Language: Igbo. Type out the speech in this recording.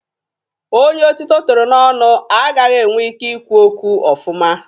Onye otito toro n'ọnụ agaghị enwe ike ị kwu okwu ọfụma.